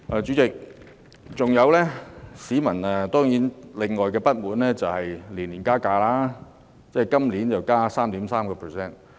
主席，市民另外的不滿是港鐵年年加票價，今年又加 3.3%。